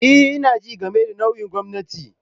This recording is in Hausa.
E, ina jin game da nau'in gwamnati.